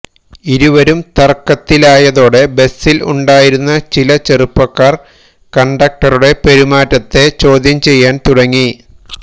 ഇരുവരും തർക്കത്തിലായതോടെ ബസിൽ ഉണ്ടായിരുന്ന ചില ചെറുപ്പക്കാർ കണ്ടക്ടറുടെ പെരുമാറ്റത്തെ ചോദ്യംചെയ്യാൻതുടങ്ങി